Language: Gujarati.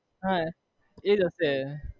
હા એ જ હશે